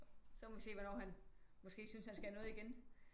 Så må vi se hvornår han måske synes han skal noget igen